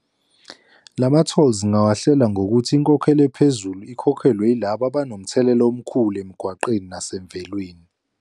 Lama-tolls ngingawahlela ngokuthi inkokhelo ephezulu ikhokhelwe yilaba abanomthelela omkhulu emgwaqeni nasemvelweni.